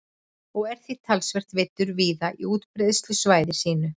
Pétursfiskurinn þykir herramannsmatur og er því talsvert veiddur víða á útbreiðslusvæði sínu.